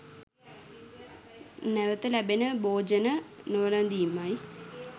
නැවත ලැබෙන භෝජන නොවැළඳීමයි.